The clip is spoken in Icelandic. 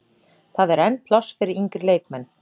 Það er enn pláss fyrir yngri leikmenn.